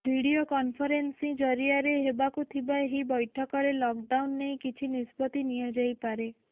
video conferencing ଜରିଆରେ ହେବାକୁ ଥିବା ଏହି ବୈଠକରେ ଲକ୍ଡାଉନ୍ ନେଇ କିଛି ନିଷ୍ପତ୍ତି ନିଆଯାଇପାରେ